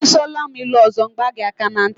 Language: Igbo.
Ị sụọla m ilu ọzọ, m gbaa gị aka ntị.